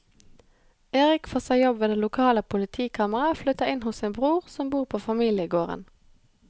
Erik får seg jobb ved det lokale politikammeret og flytter inn hos sin bror som bor på familiegården.